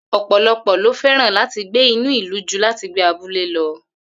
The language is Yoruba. Ò̩pòlo̩pò̩ ló fé̩ràn láti gbé ní ìlú ju láti gbé ní abúlé lo̩